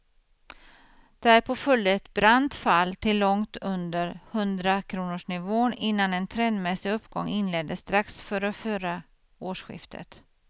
Därpå följde ett brant fall till långt under hundrakronorsnivån innan en trendmässig uppgång inleddes strax före förra årsskiftet.